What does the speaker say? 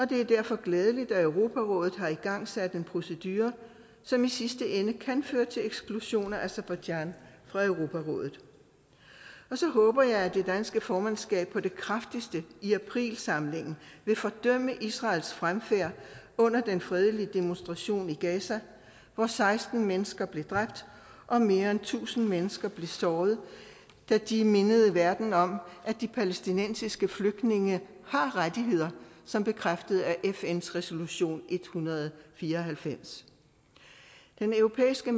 det er derfor glædeligt at europarådet har igangsat en procedure som i sidste ende kan føre til eksklusion af aserbajdsjan fra europarådet så håber jeg at det danske formandskab på det kraftigste i aprilsamlingen vil fordømme israels fremfærd under den fredelige demonstration i gaza hvor seksten mennesker blev dræbt og mere end tusind mennesker blev såret da de mindede verden om at de palæstinensiske flygtninge har rettigheder som bekræftet af fns resolution en hundrede og fire og halvfems den europæiske